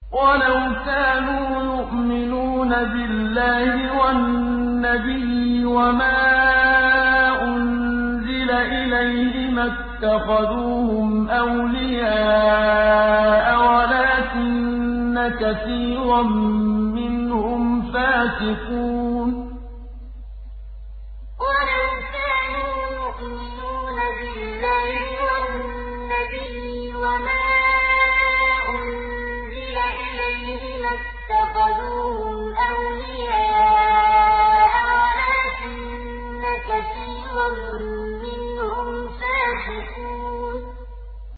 وَلَوْ كَانُوا يُؤْمِنُونَ بِاللَّهِ وَالنَّبِيِّ وَمَا أُنزِلَ إِلَيْهِ مَا اتَّخَذُوهُمْ أَوْلِيَاءَ وَلَٰكِنَّ كَثِيرًا مِّنْهُمْ فَاسِقُونَ وَلَوْ كَانُوا يُؤْمِنُونَ بِاللَّهِ وَالنَّبِيِّ وَمَا أُنزِلَ إِلَيْهِ مَا اتَّخَذُوهُمْ أَوْلِيَاءَ وَلَٰكِنَّ كَثِيرًا مِّنْهُمْ فَاسِقُونَ